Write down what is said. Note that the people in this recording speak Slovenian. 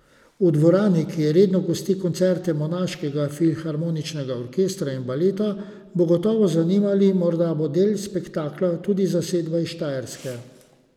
V dvorani, ki redno gosti koncerte monaškega filharmoničnega orkestra in baleta, bo gotovo zanimivo, morda bo del spektakla tudi zasedba iz Štajerske.